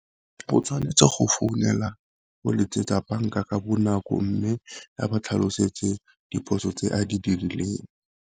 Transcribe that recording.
O tshwanetse go founela go letsetsa banka ka bonako, mme ga ba tlhalosetse diphoso tse a di dirileng.